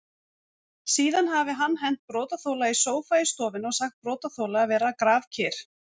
Síðan hafi hann hent brotaþola í sófa í stofunni og sagt brotaþola að vera grafkyrr.